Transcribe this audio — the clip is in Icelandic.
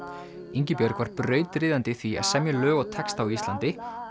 Ingibjörg var brautryðjandi í því að semja lög og texta á Íslandi